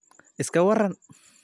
iska waran